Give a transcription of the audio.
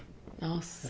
Nossa